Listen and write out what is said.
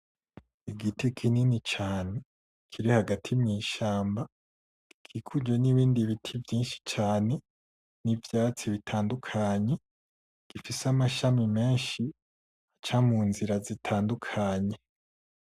Igiti kinini cane kiri hagati mw' ishamba gikikujwe n’ibindi biti vyishi cane n’ivyatsi bitandukanye gifise amashami meshi aca mu nzira zitandukanye.